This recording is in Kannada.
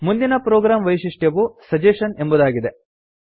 ಮುಂದಿನ ಪ್ರೊಗ್ರಾಮ್ ವೈಶಿಷ್ಟ್ಯವು ಸಜೆಷನ್ ಎಂಬುದಾಗಿದೆ